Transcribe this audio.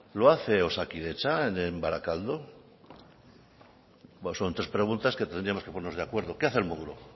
lo hace osakidetza en barakaldo bueno son tres preguntas que tendríamos que ponernos de acuerdo qué hace el modulo